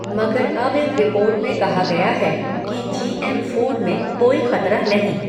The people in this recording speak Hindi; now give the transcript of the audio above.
मगर अब एक रिपोर्ट में कहा गया है, कि जीएम फ़ूड में कोई ख़तरा नहीं.